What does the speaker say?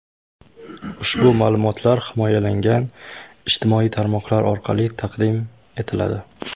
Ushbu ma’lumotlar himoyalangan ijtimoiy tarmoqlar orqali taqdim etiladi.